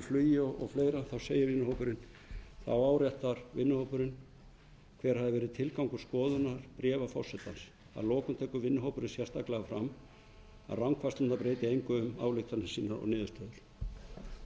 flugi og fleira þá áréttar vinnuhópurinn hver hafi verið tilgangur skoðunar bréfa forsetans að lokum tekur vinnuhópurinn sérstaklega fram að rangfærslur breyta engu um ályktanir sínar og niðurstöður